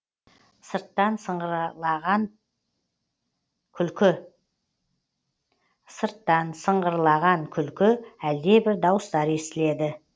сырттан сыңғыраған күлкі әлдебір дауыстар естіледі